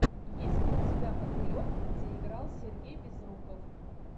есть ли у тебя мотылек где играл сергей безруков